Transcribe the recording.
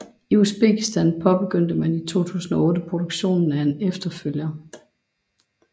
I Uzbekistan påbegyndte man i 2008 produktionen af en efterfølger